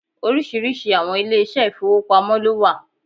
Oríṣiríṣi àwọn ilé ìṣẹ́ ìfowópamọ́ lówà